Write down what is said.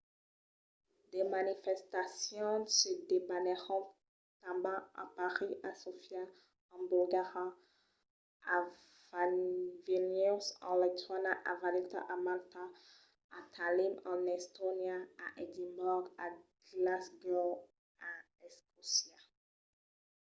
de manifestacions se debanèron tanben a parís a sofia en bulgaria a vilnius en lituània a valeta a malta a tallinn en estònia a edimborg e glasgow en escòcia